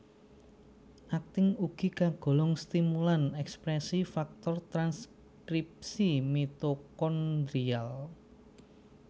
Aktin ugi kagolong stimulan ekspresi faktor transkripsi mitokondrial